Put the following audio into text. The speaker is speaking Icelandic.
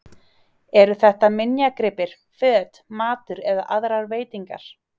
Eru þetta minjagripir, föt, matur eða aðrar veitingar?